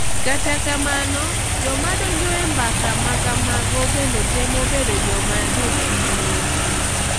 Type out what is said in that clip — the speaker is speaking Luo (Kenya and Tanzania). Kata kamano joma donjo e mbaka makamago bende temo bedo joma jochiwo.